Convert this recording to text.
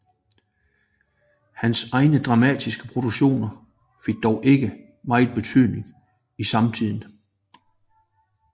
Hans egen dramatiske produktion fik dog ikke meget betydning i samtiden